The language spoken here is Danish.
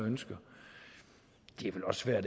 selv jeg